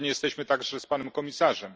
Zgodni jesteśmy także z panem komisarzem.